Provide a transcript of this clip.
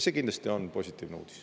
See kindlasti on positiivne uudis.